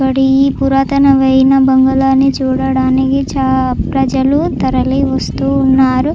ఇక్కడ ఈ పురాతనమైన బంగ్లా ని చూడడానికి ప్రజలు తరలి వస్తూ ఉన్నారు.